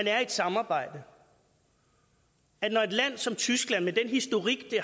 er i et samarbejde og når et land som tyskland med den historik det